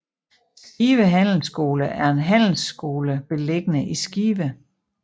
Skive Handelsskole er en handelsskole beliggende i Skive